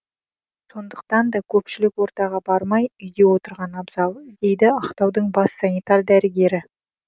сондықтан да көпшілік ортаға бармай үйде отырған абзал дейді ақтаудың бас санитар дәрігері